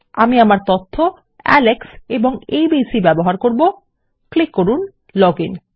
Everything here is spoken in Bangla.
আমি আমার তথ্য আলেক্স এবং এবিসি ব্যবহার করব ক্লিক করুন লগ আইএন